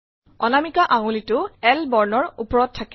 অনামিকা আঙুলিটো L বৰ্ণৰ ওপৰত থাকে